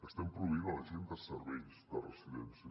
estem proveint la gent de serveis de residències